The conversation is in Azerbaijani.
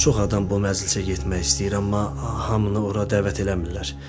Çox adam bu məclisə getmək istəyir, amma hamını ora dəvət eləmirlər.